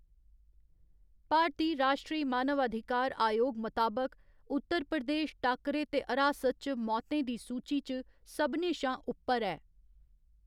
भारती राश्ट्री मानवाधिकार आयोग मताबक, उत्तर प्रदेश टाक्करे ते हरासत च मौतें दी सूची च सभनें शा उप्पर ऐ।